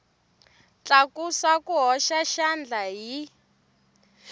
tlakusa ku hoxa xandla hi